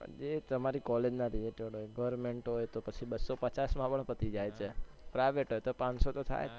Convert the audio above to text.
એ તમારી college ના related હોય government હોય તો બસ્સો પચાસમાં પણ પતી જાય છે private હોય તો પાણસો તો થાય છે